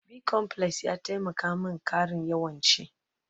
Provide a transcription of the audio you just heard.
Bicomplex ya taimaka min ƙara yawan ci